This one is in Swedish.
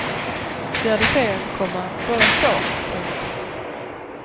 De hade fel, komma båda två. punkt